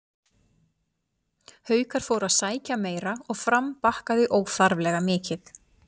Haukar fóru að sækja meira og Fram bakkaði óþarflega mikið.